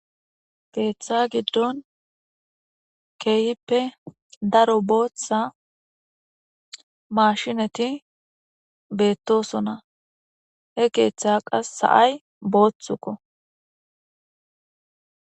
Keetha gidon keehipe daro bootha maashineti beetosona he keetha kase sa'ay boothiko.